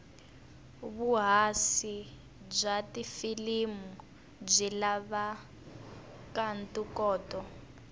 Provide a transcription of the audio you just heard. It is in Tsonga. vuhhashi bwatifilimu bwilavanto koto